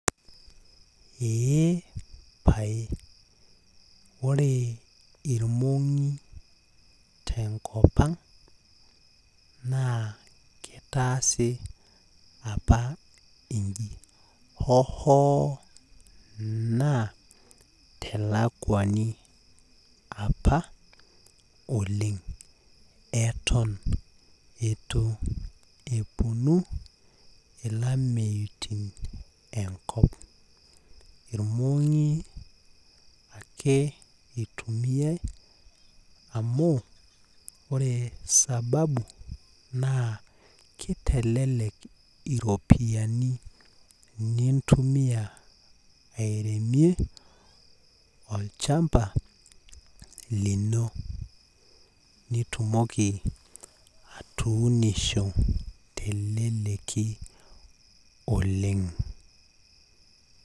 Eepae ore irmongi tenkop ang naa kitaasi apa inji hoo hoo naa telakwani eton itu eponu ilameiutin enkop, irmongi ake itumiay amu ore sababu naa kitelelek iropiyiani , nintumia airemie olchamba lino nitumoki atuunisho telelleki oleng.